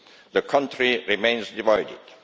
The country remains divided.